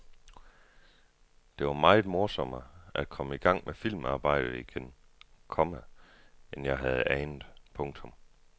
Det var meget morsommere at komme i gang med filmarbejdet igen, komma end jeg havde anet. punktum